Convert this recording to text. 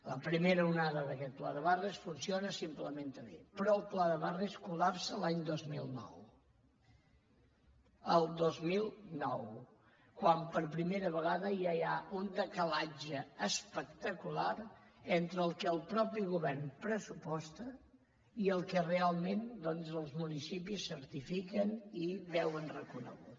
la primera onada d’aquest pla de barris funciona i s’implementa bé però el pla de barris es collapsa l’any dos mil nou el dos mil nou quan per primera vegada ja hi ha un decalatge espectacular entre el que el mateix govern pressuposta i el que realment doncs els municipis certifiquen i veuen reconegut